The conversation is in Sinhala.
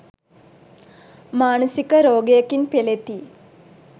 මානසික රෝගයකින් පෙළෙති.